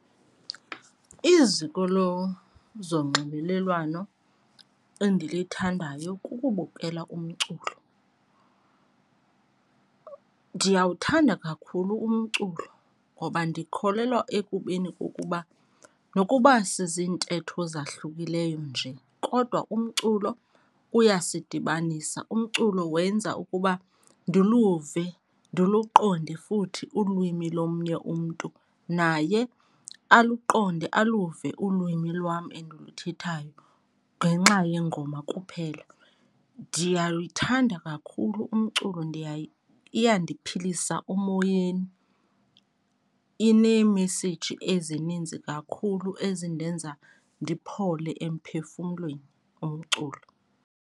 Iziko lozonxibelelwano endilithandayo kukubukela umculo. Ndiyawuthanda kakhulu umculo ngoba ndikholelwa ekubeni kokuba nokuba siziintetho ezahlukileyo nje kodwa umculo uyasidibanisa. Umculo wenza ukuba ndiluve, ndiluqonde futhi ulwimi lomnye umntu, naye aluqonde aluve ulwimi lwam endiluthathayo ngenxa yengoma kuphela. Ndiyawuthanda kakhulu umculo, iyandiphilisa emoyeni. Ineemeseyiji ezininzi kakhulu ezindenza ndiphole emphefumlweni umculo.